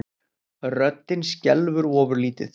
Röddin skelfur ofurlítið.